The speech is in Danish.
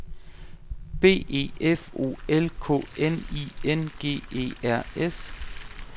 B E F O L K N I N G E R S